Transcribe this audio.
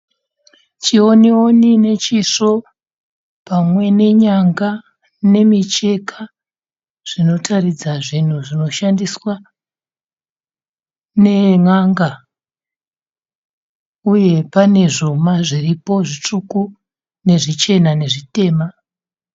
Chiwoniwoni nechisvo pamwe nenyanga nemicheka zvinotaridza zvinhu zvinoshandiswa nen'anga uye pane zvuma zviripo zvitsvuku nezvichena nezvitema.